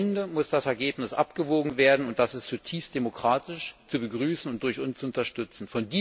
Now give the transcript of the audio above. Am Ende muss das Ergebnis abgewogen werden, und das ist zutiefst demokratisch, zu begrüßen und durch uns zu unterstützen.